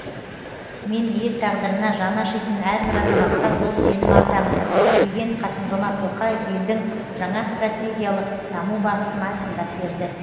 мен ел тағдырына жаны ашитын әрбір азаматқа зор сенім артамын деген қасым жомарт тоқаев елдің жаңа стратегиялық даму бағытын айқындап берді